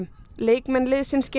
leikmenn liðsins